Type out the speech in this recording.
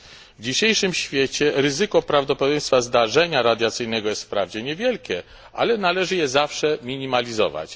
W dzisiejszym świecie ryzyko prawdopodobieństwa zdarzenia radiacyjnego jest wprawdzie niewielkie, ale należy je zawsze minimalizować.